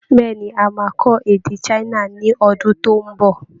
Bẹ́ẹ̀ ni, a máa kọ́ èdè China ní ọdún tó ń bọ